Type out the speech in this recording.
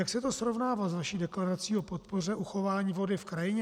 Jak se to srovnává s vaší deklarací o podpoře uchování vody v krajině?